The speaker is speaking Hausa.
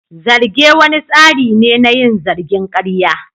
Zarge wani tsari ne na yin zargin karya.